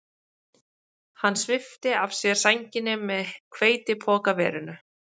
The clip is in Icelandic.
Hann svipti af sér sænginni með hveitipokaverinu